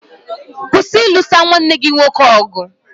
Kwụsị ilusa nwanne gị nwoke ọgụ!